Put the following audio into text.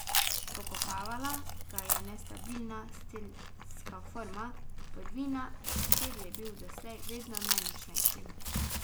Pokopavala ga je nestabilna strelska forma, prvina, v kateri je bil doslej vedno najmočnejši.